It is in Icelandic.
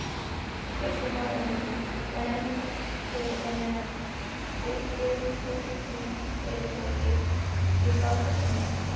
Kristján Már Unnarsson: Þannig að þið eruð útflutningsfyrirtæki í bátasmíði?